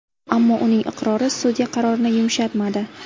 Ammo uning iqrori sudya qarorini yumshatmadi.